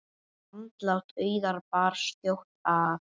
Andlát Auðar bar skjótt að.